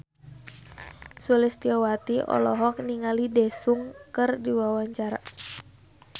Sulistyowati olohok ningali Daesung keur diwawancara